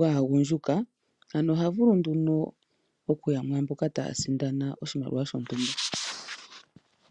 gaagundjuka ano oha vulu nduno okuya mwaamboka taya sindana oshimaliwa shontumba.